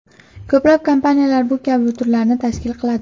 Ko‘plab kompaniyalar bu kabi turlarni tashkil qiladi.